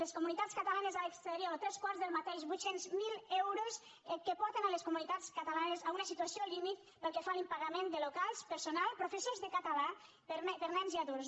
les comunitats catalanes a l’exterior tres quarts del mateix vuit cents miler euros que porten a les comunitats catalanes a una situació límit pel que fa a l’impagament de locals personal professors de català per a nens i adults